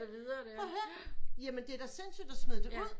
Prøv at hør james det er da sindsygt at smide det ud